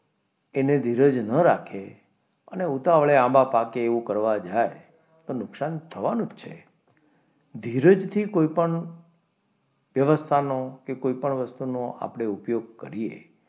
એને ધીરજ ન રાખી અને ઉતાવળે આંબા પાકે એવું કરવા જાય તો નુકસાન થવાનું જ છે ધીરજથી કોઈપણ વ્યવસ્થાનો કે કોઈપણ વસ્તુનો આપણે ઉપયોગ કરીએ,